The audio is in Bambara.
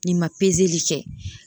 N'i ma kɛ.